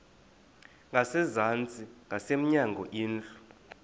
ngasezantsi ngasemnyango indlu